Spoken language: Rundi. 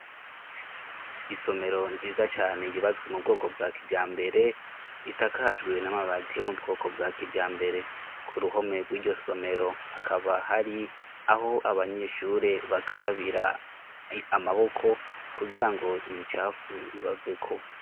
Isomero nziza cane yubatswe mu bwoko bwa kijambere. Isakajwe n'amabati yo mu bwoko bwa kijambere. Ku ruhome rw'iryo somero hakaba hari aho abanyeshure bakarabira amaboko kugira ngo imicafu ibaveko.